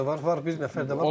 Deriş də var, bir nəfər də var.